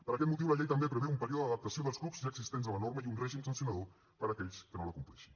per aquest motiu la llei també preveu un període d’adaptació dels clubs ja existents a la norma i un règim sancionador per a aquells que no la compleixin